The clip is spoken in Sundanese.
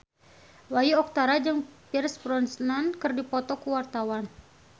Bayu Octara jeung Pierce Brosnan keur dipoto ku wartawan